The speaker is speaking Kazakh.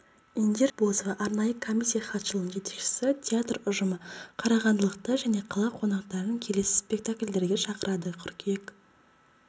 индира ақбозова арнайы комиссия хатшылығының жетекшісі театр ұжымы қарағандылықтар және қала қонақтарын келесі спектакльдерге шақырады қыркүйек